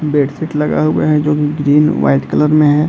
Bedsheet लगा हुआ है जो की ग्रीन वाइट कलर में है।